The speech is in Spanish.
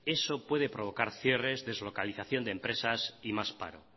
eso puede provocar cierres deslocalización de empresas y más paro